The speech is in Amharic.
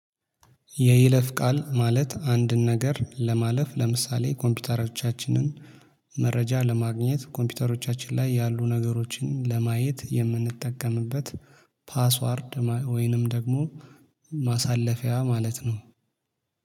የይለፍ ቃል ማለት አንድን ነገር ለማለፍ ለምሳሌ ኮምፒውተሮቻችንን መረጃ ለማግኘት ኮምፒውተሮቻችን ላይ ያሉ ነገሮችን ለማየት የምንጠቀምበት ፓስዋርድ ወይንም ደግሞ ማሳለፊያ ማለት ነው